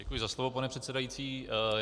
Děkuji za slovo, pane předsedající.